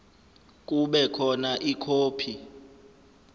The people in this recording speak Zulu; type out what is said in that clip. kube khona ikhophi